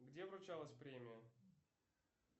где вручалась премия